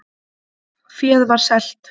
Féð var selt